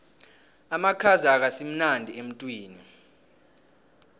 amakhaza akasimnandi emtwini